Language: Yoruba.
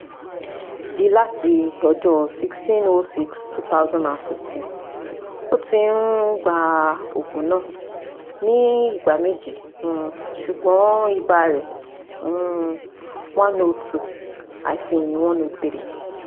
d láti ọjọ́ sixteen / six / twenty fifteen ó ti um gba òògùn náà ní ìgbà méje um ṣùgbọ́n ibà rẹ̀ um ( one hundred two - one hundred three